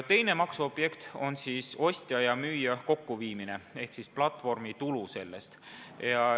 Teine maksuobjekt on ostja ja müüja kokkuviimine ehk platvormitulu sellest.